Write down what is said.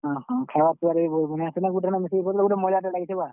ଓଃ ହଁ, ଖେବାର୍ ପିବାର୍ ବି ବହୁତ୍ ମାନେ ସେନ ଗୁଟେ ଠାନେ ମିଶିକରି ମଜାଟେ ଲାଗିଥିଲା।